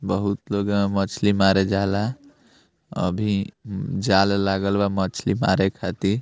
बहुत लोग एम मछली मारे जा ला अभी जाल लागल बा मछली मारे खाति।